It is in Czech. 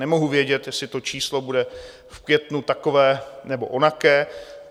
Nemohu vědět, jestli to číslo bude v květnu takové, nebo onaké.